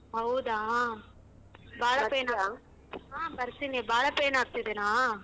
ಹೌದಾ. ಹಾ ಬರ್ತೀನಿ ಬಾಳಾ pain ಆಗ್ತಿದೇನಾ?